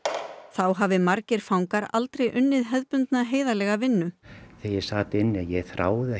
þá hafi margir fangar aldrei unnið hefðbundna heiðarlega vinnu þegar ég sat inni þráði